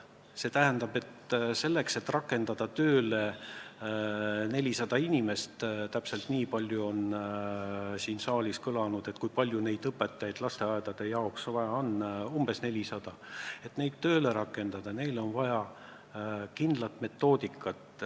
See tähendab, selleks, et rakendada tööle 400 inimest – täpselt nii palju on siin saalis kõlanud hinnangutel õpetajaid lasteaedade jaoks vaja –, on vaja kindlat metoodikat.